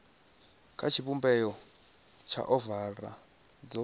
kha tshivhumbeo tsha ovala dzo